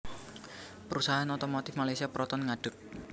Perusahaan otomotif Malaysia Proton ngadeg